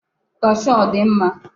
kashuu a ọ dị mma?